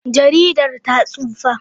Jaridar ta tsufa.